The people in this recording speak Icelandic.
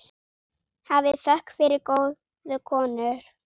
Hafið þökk fyrir góðu konur.